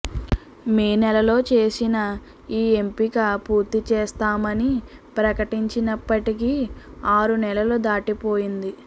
మే నెలలో చేసిన ఈ ఎంపిక పూర్తిచేస్తామని ప్రకటించినప్పటికీ ఆరునెలలు దాటిపోయింది